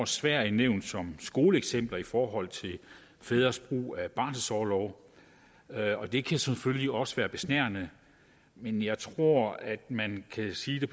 sverige nævnt som skoleeksempler i forhold til fædres brug af barselsorlov og det kan selvfølgelig også være besnærende men jeg tror at man kan sige det